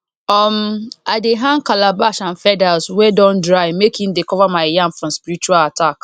um i dey hang calabash and feathers wey don dry make e dey cover my yam from spiritual attack